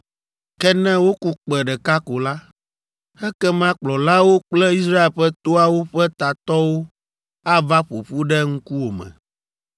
Ke ne woku kpẽ ɖeka ko la, ekema kplɔlawo kple Israel ƒe toawo ƒe tatɔwo ava ƒo ƒu ɖe ŋkuwòme.